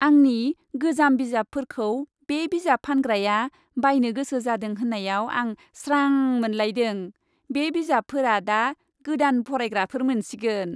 आंनि गोजाम बिजाबफोरखौ बे बिजाब फानग्राया बायनो गोसो जादों होन्नायाव आं स्रां मोनलायदों। बे बिजाबफोरा दा गोदान फरायग्राफोर मोनसिगोन।